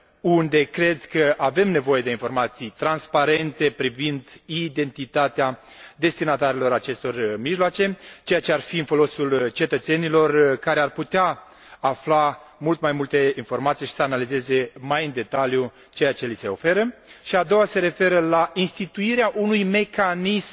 unde cred că avem nevoie de informații transparente privind identitatea destinatarilor acestor mijloace, ceea ce ar fi în folosul cetățenilor, care ar putea afla mult mai multe informații și să analizeze mai în detaliu ceea ce li se oferă și a doua se referă la instituirea unui mecanism